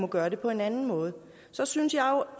gøre det på en anden måde så synes jeg